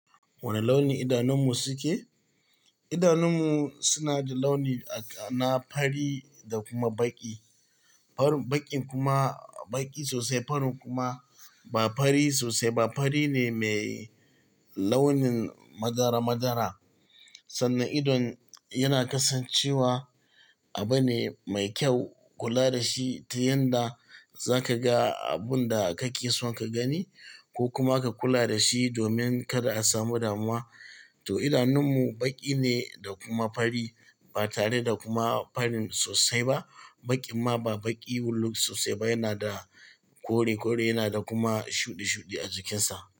Wane launi idanunmu suke? Idanunmu suna da launi na fari da kuma baƙi. Farin baƙin kuma baƙi sosai, farin kuma ba fari sosai ba. Fari ne mai launin madara madara. Sannan idon yana kasancewa abu ne mai kyau kula da shi ta yanda za ka ga abun da kake son ka gani ko kuma ka kula da shi domin kada a samu damuwa. To idanunmu baƙi ne da kuma fari ba tare da kuma farin sosai ba. Baƙi amma ba baƙi wuluk sosai ba, yana da kore kore, yana da kuma shuɗe shuɗe a jikinsa.